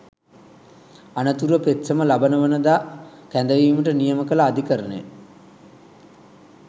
අනතුරුව පෙත්සම ලබන වනදා කැඳවීමට නියම කල අධිකරණය